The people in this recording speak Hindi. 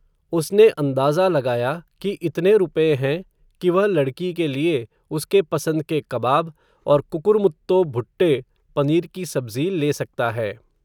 उसने अंदाज़ा लगाया, कि इतने रुपए हैं, कि वह लड़की के लिए, उसके पसंद के कबाब, और कुकुरमुत्तो भुट्टे, पनीर की सब्ज़ी ले सकता है